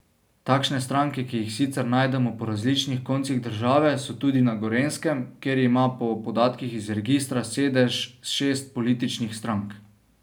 Takšne stranke, ki jih sicer najdemo po različnih koncih države, so tudi na Gorenjskem, kjer ima po podatkih iz registra sedež šest političnih strank.